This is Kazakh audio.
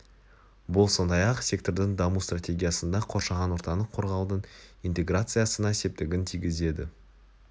бұл сондай-ақ сектордың даму стратегиясында қоршаған ортаны қорғаудың интеграциясына септігін тигізеді